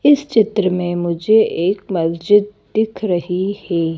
इस चित्र में मुझे एक मस्जिद दिख रही है।